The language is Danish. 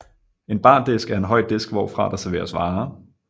En bardisk er en høj disk hvorfra der serveres varer